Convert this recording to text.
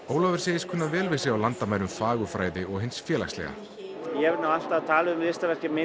Ólafur segist kunna vel við sig á landamærum fagurfræði og hins félagslega ég hef alltaf talað um listaverkin mín